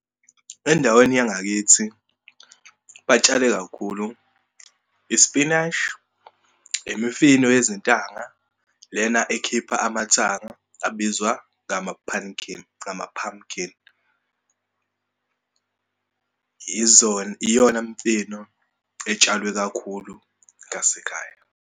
Endaweni yangakithi batshale kakhulu isipinashi, imifino yezintanga lena ekhipha amathanga abizwa ngama-punkin, ngama-pumpkin. Iyona mifino etshalwe kakhulu ngasekhaya.